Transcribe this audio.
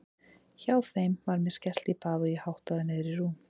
Hjá þeim var mér skellt í bað og ég háttaður niður í rúm.